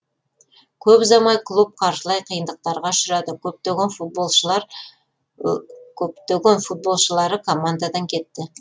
көп ұзамай клуб қаржылай қиындықтарға ұшырады көптеген футболшылар командадан кетті